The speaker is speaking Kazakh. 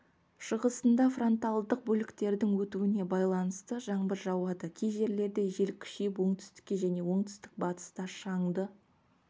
шығысында фронтальдық бөліктердің өтуіне байланысты жаңбыр жауады кей жерлерде жел күшейіп оңтүстікте және оңтүстік-батыста шаңды